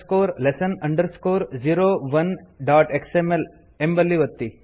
basic lesson 01xml ಎಂಬಲ್ಲಿ ಒತ್ತಿ